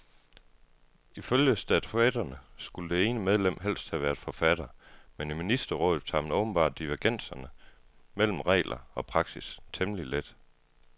Ifølge statutterne skulle det ene medlem helst have været forfatter, men i ministerrådet tager man åbenbart divergenser mellem regler og praksis temmelig let.